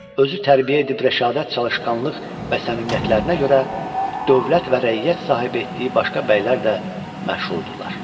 Özü tərbiyə edib rəşadət, çalışqanlıq və səmimiyyətlərinə görə dövlət və rəiyyət sahibi etdiyi başqa bəylər də məşhur idilər.